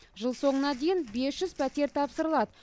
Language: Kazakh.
жыл соңына дейін бес жүз пәтер тапсырылады